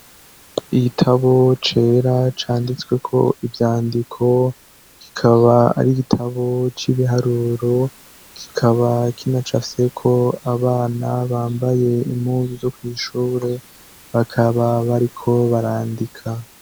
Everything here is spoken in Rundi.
Igitabo cera canditsweko ivyandiko gikaba ari igitabo c'ibiharuro kikaba kina ca seko abana bambaye impuzu zo kw'ishure bakaba bariko barandika.